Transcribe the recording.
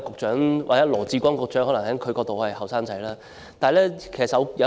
從羅致光局長的角度，我可能仍然是年青人。